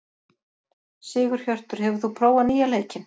Sigurhjörtur, hefur þú prófað nýja leikinn?